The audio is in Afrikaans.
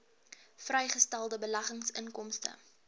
vrygestelde beleggingsinkomste